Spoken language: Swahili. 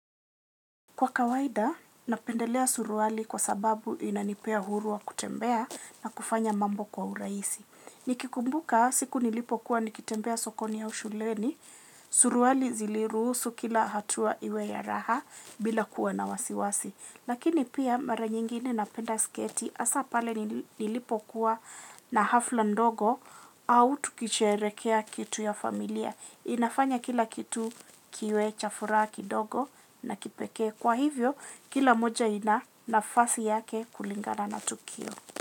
Kwa kawaida napendelea suruali kwa sababu inanipea huru wa kutembea na kufanya mambo kwa urahisi. Nikikumbuka siku nilipo kuwa nikitembea sokoni au shuleni, suruali zilirusu kila hatua iwe ya raha bila kuwa na wasiwasi. Nikikumbuka siku nilipo kuwa nikitembea sokoni au shuleni suruali ziliruhusu kila hatua iwe ya raha bila kuwa na wasiwasi. Inafanya kila kitu kiwe cha fura kidogo na kipeke kwa hivyo kila moja ina nafasi yake kulingala na tukio.